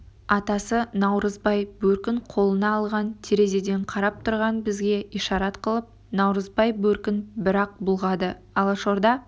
атасы наурызбай бөркін қолына алған терезеден қарап тұрған бізге ишарат қылып наурызбай бөркін бір-ақ бұлғады алашорда